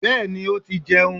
Bẹ́ẹ̀ni ó ti jẹun